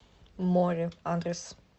море адрес